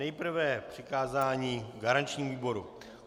Nejprve přikázání garančnímu výboru.